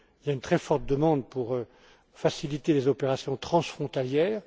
Il y a une très forte demande pour faciliter les opérations transfrontalières.